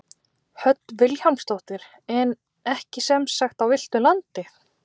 Hödd Vilhjálmsdóttir: En ekki sem sagt á villtu landi?